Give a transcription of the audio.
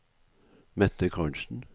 Mette Carlsen